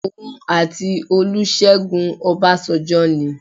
Òun àti Olúṣẹ́gun Ọbásanjọ́ ni.